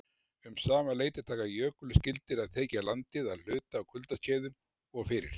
Um sama leyti taka jökulskildir að þekja landið að hluta á kuldaskeiðum og fyrir